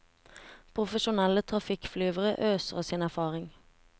Profesjonelle trafikkflyvere øser av sin erfaring.